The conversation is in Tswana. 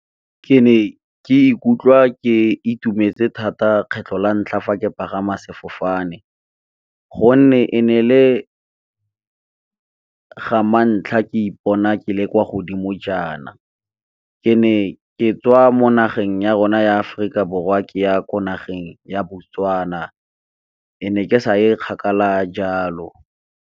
Ke ne ke ikutlwa ke itumetse thata kgetlho la ntlha fa ke pagama sefofane. Gonne, e ne e le ga mantlha ke ipona ke le kwa godimo jaana, ke ne ke tswa mo nageng ya rona ya Aforika Borwa ke ya ko nageng ya Botswana e ne ke sa e kgakala jalo.